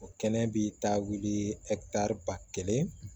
O kɛnɛ bi taa wuli ba kelen